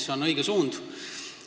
See on õige suund.